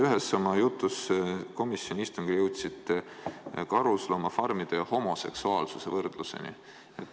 Ühes oma jutus komisjoni istungil jõudsite te karusloomafarmide ja homoseksuaalsuse võrdluseni.